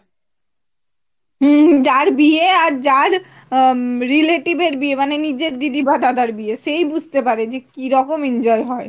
হম যার বিয়ে আর যার হম relative এর বিয়ে মানে নিজের দিদি বা দাদার বিয়ে সে ই বুঝতে পারে যে কিরকম enjoy হয়